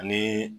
Ani